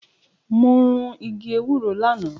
Mo run igi ewúro lánàá.